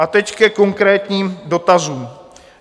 A teď ke konkrétním dotazům.